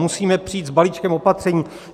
Musíme přijít s balíčkem opatření.